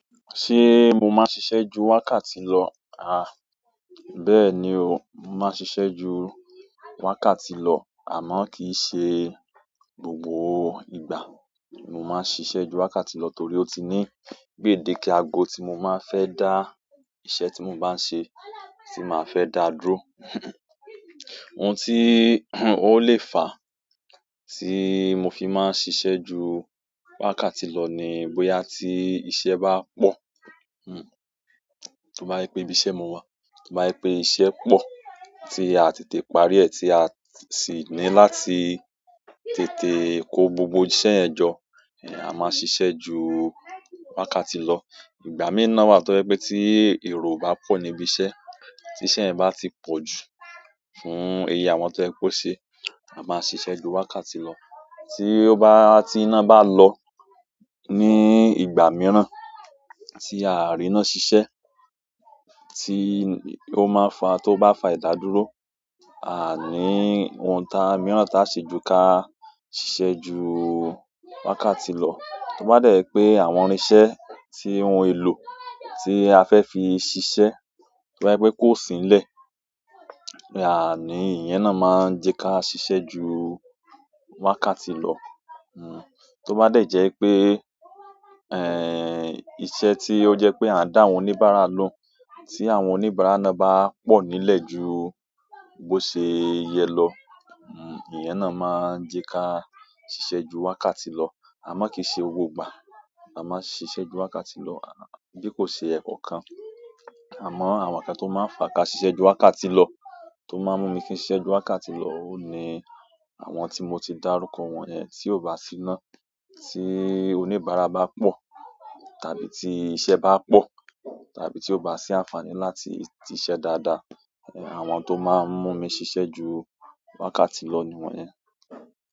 Ṣé mo máa ń ṣiṣẹ́ ju wákàtí lọ? Bẹ́ẹ̀ ni o, mo máa ń ṣiṣẹ́ ju wákàtí lọ àmọ́ kì í ṣe gbogbo ìgbà ni mo máa ń ṣiṣẹ́ ju wákàtí lọ torí ó ti ni gbèdéke ago tí mo máa fẹ́ dá iṣẹ́ tí mo bá ń ṣe, tí màá fẹ́ dá dúró. Ohun tí ó lè fà tí mo fi máa ń ṣiṣẹ́ ju wákàtí lọ ni bóyá tí iṣẹ́ bá pọ̀. Tó bá je pé ibi iṣẹ́ mo wà, tó bá je pé iṣẹ́ pọ̀ tí a tètè parí ẹ̀ tí a sì ní láti tètè kó gbogbo iṣẹ́ yen jọ, a máa ṣiṣẹ́ ju wákàtí lọ. Ìgbà mìí nàn wà tó jé tí èrò bá pọ̀ ní ibi iṣẹ́, tí iṣẹ́ yen bá ti pọ̀ ju fún oye àwọn tó yẹ kó ṣe, a máa ṣiṣẹ́ ju wákàtí lọ. Tí ó bá, tí iná bá lọ ní ìgbà mìíràn tí àà rí iná ṣiṣẹ́, tó bá fà ìdádúró, àa ní oun mìíràn táa ṣe jù ká ṣiṣẹ́ ju wákàtí lọ. To ba de je pe àwọn irinse ti, ohun elo ti a fe fi sise, ti ba je pe ko si nile, iyen náà ma n je ka sise jù wákàtí lo hmm, tó bá dẹ̀ jẹ́ pé, iṣẹ́ tí ó jẹ́ pé a ń dá àwọn oníbàárà lohun, tí àwọn oníbàárà náà bá pọ̀ nílẹ̀ ju bó ṣe yẹ lọ, ìyẹn náà máa ń jẹ́ ká ṣiṣẹ́ ju wákàtí lọ. Àmọ́ kì í ṣe gbogbo ìgbà la máa ń ṣiṣẹ́ ju wákàtí lọ, bí kò ṣe èèkọ́ kan. Àmọ́ àwọn nǹkan tó máa ń fà ká ṣiṣẹ́ ju wákàtí lọ, tó máa ń mú mi kí n ṣiṣẹ́ ju wákàtí lọ, óhu. Ní àwọn tí mo ti dárúkọ wọ́n yẹn. Tí ó bá si iná, tí oníbàárà bá pọ̀, tàbí tí iṣẹ́ bá pọ̀, tàbí tí ó bá sí àǹfààní láti siṣẹ́ dáadáa, àwọn tó máa ń mú mi ṣiṣẹ́ ju wákàtí lọ niwọ́nyẹn.